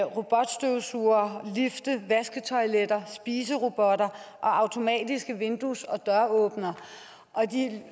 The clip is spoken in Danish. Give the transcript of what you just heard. robotstøvsugere lifte vasketoiletter spiserobotter og automatiske vindues og døråbnere og de